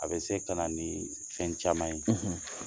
A bɛ se ka na ni fɛn caman ye